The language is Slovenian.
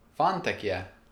Fantek je!